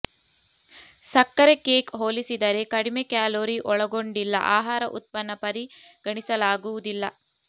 ಸಕ್ಕರೆ ಕೇಕ್ ಹೋಲಿಸಿದರೆ ಕಡಿಮೆ ಕ್ಯಾಲೊರಿ ಒಳಗೊಂಡಿಲ್ಲ ಆಹಾರ ಉತ್ಪನ್ನ ಪರಿಗಣಿಸಲಾಗುವುದಿಲ್ಲ